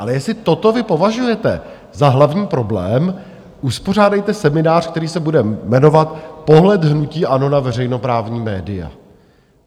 Ale jestli toto vy považujete za hlavní problém, uspořádejte seminář, který se bude jmenovat pohled hnutí ANO na veřejnoprávní média.